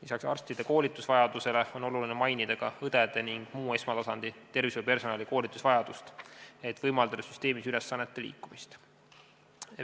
Peale arstide koolitusvajaduse tuleb mainida ka õdede ja muu esmatasandi tervishoiupersonali koolitusvajadust, et võimaldada süsteemis ülesannete liikumist.